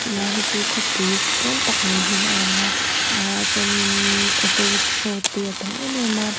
ti lai hi chu khawpui pawn tak mai hi a lang a ahh chuan innn auto rickshaw te a tam em em a bi--